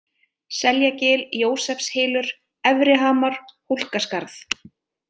Seljagil, Jósefshylur, Efrihamar, Hólkaskarð